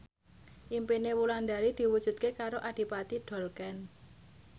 impine Wulandari diwujudke karo Adipati Dolken